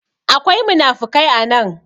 akwai munafikai a nan